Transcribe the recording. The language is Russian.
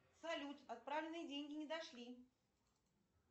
салют отправленные деньги не дошли